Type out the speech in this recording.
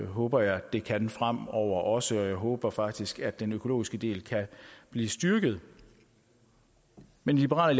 håber jeg at det kan fremover også jeg håber faktisk at den økologiske del kan blive styrket men i liberal